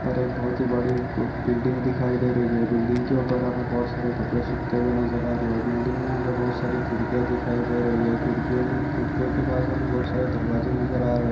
ऊपर एक बहुत ही बड़ी खूब बिल्डिंग दिखाई दे रही है बिल्डिंग के ऊपर हमें बहुत सारे कपड़े सूखते हुए नजर आ रहे हैं बिल्डिंग में हमें बहुत सारी खिड़कियाँ दिखाई दे रही है खिड़कियों में खिड़कियों के पास हमें बहुत सारे दरवाजे नजर आ हैं।